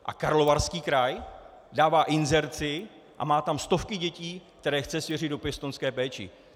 A Karlovarský kraj dává inzerci a má tam stovky dětí, které chce svěřit do pěstounské péče.